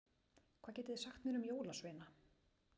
Hvað getiði sagt mér um jólasveina?